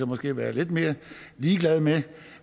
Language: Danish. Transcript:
måske være lidt mere ligeglade med